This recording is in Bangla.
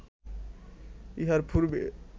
ইহার পূর্বে